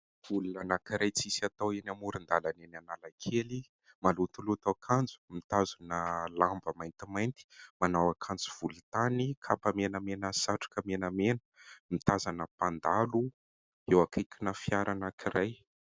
Olona anankiray tsisy atao eny amoron-dalana any Analakely. Malotoloto akanjo, mitazona lamba maintimainty, manao akanjo volontany, kapa menamena ary satroka menamena ; mitazana mpandalo eo akaikina fiara anankiray.